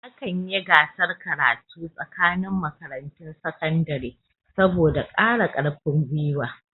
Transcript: Akan yi gasar karatu tsakanin makarantun sakandare. saboda kara karfin gwiwa